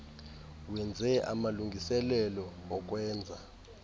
wenze amalungiselelo okwenza